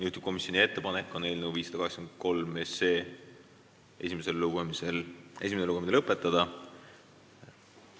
Juhtivkomisjoni ettepanek on eelnõu 583 esimene lugemine lõpetada.